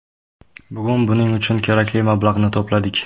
Bugun buning uchun kerakli mablag‘ni to‘pladik.